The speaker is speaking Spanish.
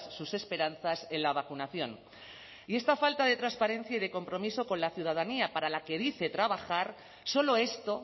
sus esperanzas en la vacunación y esta falta de transparencia y de compromiso con la ciudadanía para la que dice trabajar solo esto